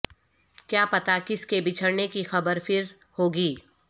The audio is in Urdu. کیا پتا کس کے بچھڑنے کی خبر پھر ہوگی